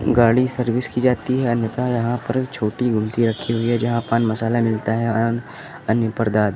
गाड़ी सर्विस की जाती हैं अन्यथा यहां पर छोटी रखी हुई है जहां पान मसाला मिलता है और अन्य परदार्थ ।